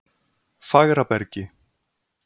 Fagrabergi